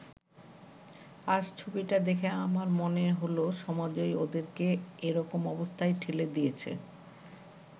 আজ ছবিটা দেখে আমার মনে হলো, সমাজই ওদেরকে এরকম অবস্থায় ঠেলে দিয়েছে।